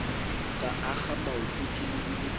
ka akga maoto ke lebile